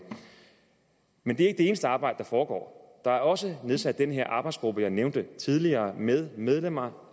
men det er eneste arbejde der foregår der er også nedsat denne arbejdsgruppe jeg nævnte tidligere med medlemmer